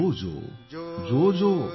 जोजोजो